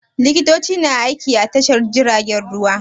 Likitoci na aiki a Tashar jiragen ruwa.